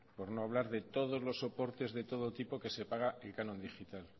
por no hablar de todos los soportes de todo tipo que se paga el canon digital